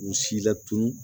K'u si latunu